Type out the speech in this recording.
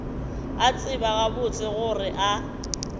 a tseba gabotse gore a